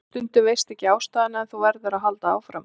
Stundum veistu ekki ástæðuna en þú verður að halda áfram.